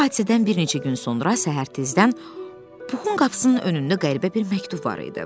Bu hadisədən bir neçə gün sonra səhər tezdən Puxun qapısının önündə qəribə bir məktub var idi.